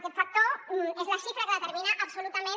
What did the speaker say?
aquest factor és la xifra que determina absolutament